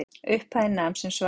Upphæðin nam sem svaraði